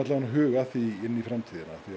að huga að því inn í framtíðina því